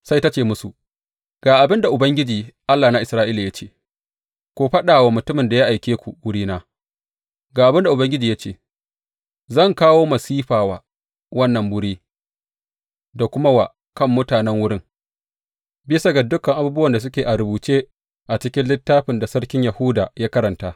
Sai ta ce musu, Ga abin da Ubangiji, Allah na Isra’ila ya ce, ku faɗa wa mutumin da ya aike ku wurina, Ga abin da Ubangiji ya ce, zan kawo masifa wa wannan wuri da kuma wa kan mutanen wurin, bisa ga dukan abubuwan da suke a rubuce a cikin littafin da sarkin Yahuda ya karanta.